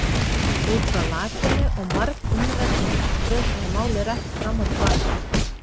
Út frá lakinu og margumræddri martröð var málið rætt fram og til baka.